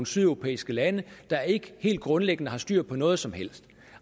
sydeuropæiske lande der ikke helt grundlæggende har styr på noget som helst